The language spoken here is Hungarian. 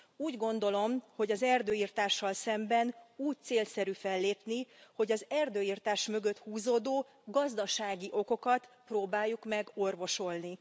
Úgy gondolom, hogy az erdőirtással szemben úgy célszerű fellépni, hogy az erdőirtás mögött húzódó gazdasági okokat próbáljuk meg orvosolni.